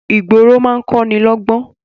Ìgboro máa ń kọ́ni lọ́ gbọ́n